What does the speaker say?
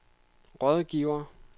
rådgiver